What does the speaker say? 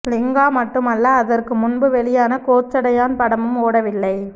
லிங்கா மட்டும் அல்ல அதற்கு முன்பு வெளியான கோச்சடையான் படமும் ஓடவில்லை